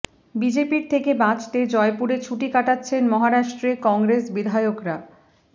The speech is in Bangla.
বিজেপির থেকে বাঁচতে জয়পুরে ছুটি কাটাচ্ছেন মহারাষ্ট্রে কংগ্রেস বিধায়করা